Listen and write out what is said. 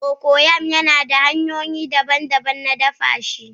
Cocoyam yana da hanyoyi daban-daban na dafa shi